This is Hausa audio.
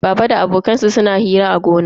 Baba da abokan shi suna hira a gona.